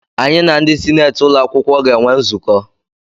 Anyị na ndị sineeti ụlọakwụkwọ ga-enwe nzukọ.